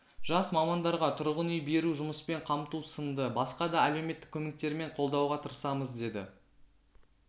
жас мамандарға тұрғын үй беру жұмыспен қамту сынды басқа да әлеуметтік көмектермен қолдауға тырысамыз деді